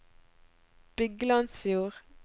Byglandsfjord